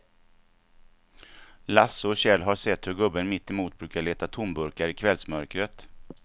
Lasse och Kjell har sett hur gubben mittemot brukar leta tomburkar i kvällsmörkret.